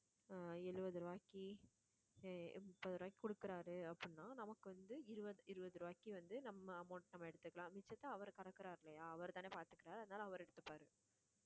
அஹ் எழுவது ரூபாய்க்கு அஹ் முப்பது ரூபாய்க்கு கொடுக்குறாரு அப்படின்னா நமக்கு வந்து இருபது இருபது ரூபாய்க்கு வந்து நம்ம amount நம்ம எடுத்துக்கலாம் மிச்சத்தை அவர் கறக்குறாரு இல்லையா அவர்தானே பார்த்துக்கிறார் அதனால அவர் எடுத்துப்பாரு